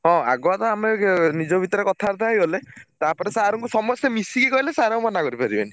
ହଁ ଆଗ ତ ଆମେ ନିଜ ଭିତରେ କଥାବାର୍ତ୍ତା ହେଇଗଲେ ତାପରେ sir ଙ୍କୁ ସମସ୍ତେ ମିଶିକି କହିଲେ sir ଆଉ ମନା କରିପାରିବେନି।